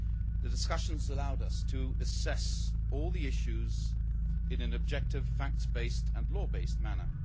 The discussions allowed us to assess all the issues in an objective, fact based and law based manner.